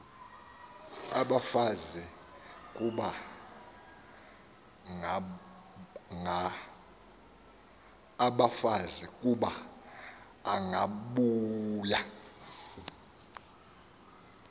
abafazi kuba angabuya